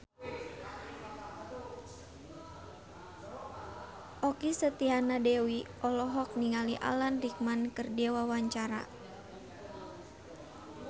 Okky Setiana Dewi olohok ningali Alan Rickman keur diwawancara